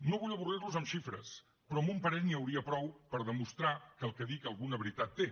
no vull avorrir los amb xifres però amb un parell n’hi hauria prou per demostrar que el que dic alguna veritat té